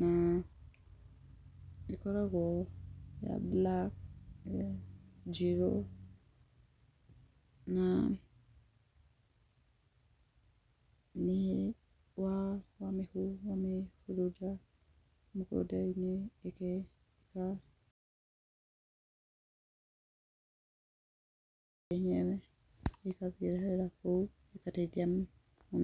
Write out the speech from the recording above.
na ĩkoragwo ya black, njĩrũ na nĩ wamĩhurunja mũgũnda-inĩ, wenyewe ĩgathirĩra kũu.